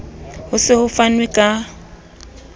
ho se ho fanwe ka